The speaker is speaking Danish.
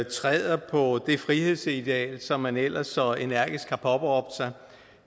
træder på det frihedsideal som man ellers så energisk har påberåbt sig